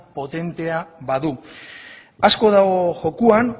potentea badu asko dago jokoan